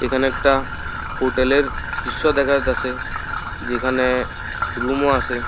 এখানে একটা হোটেল এর দৃশ্য দেখা যাইতাসে যেখানে রুম ও আসে।